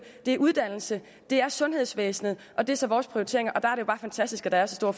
det er uddannelse det er sundhedsvæsenet og det er så vores prioriteringer der er det jo bare fantastisk at der er så store